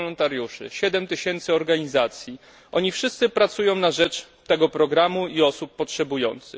woluntariuszy i 7 tyś. organizacji oni wszyscy pracują na rzecz tego programu i osób potrzebujących.